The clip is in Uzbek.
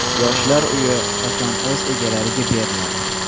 Yoshlar uyi qachon o‘z egalariga beriladi?.